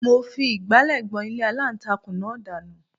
Mo fi ìgbálẹ̀ gbọn ilé aláǹtakùn náà dànù